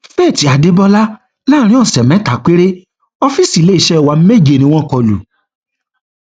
faith adébólà láàrin ọsẹ mẹta péré ọfíìsì iléeṣẹ wa méje ni wọn kọ lù